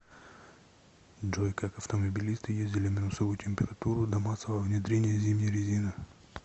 джой как автомобилисты ездили в минусовую температуру до массового внедрения зимней резины